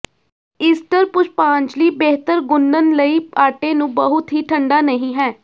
Easter ਪੁਸ਼ਪਾਜਲੀ ਬਿਹਤਰ ਗੁੰਨਣ ਲਈ ਆਟੇ ਨੂੰ ਬਹੁਤ ਹੀ ਠੰਡਾ ਨਹੀ ਹੈ